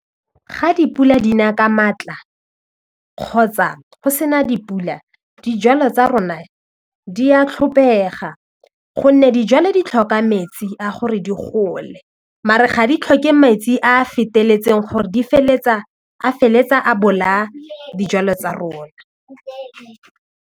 Ga dipula di na ka maatla kgotsa go se na dipula dijalo tsa rona di a tlhopega gonne dijalo di tlhoka metsi a gore di gole maar-e ga di tlhoke metsi a feteletseng gore di feleletsa a feleletsa a bolaya dijalo tsa rona.